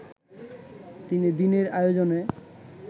তিন দিনের আয়োজনে